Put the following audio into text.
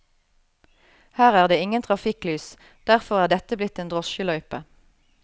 Her er det ingen trafikklys, derfor er dette blitt en drosjeløype.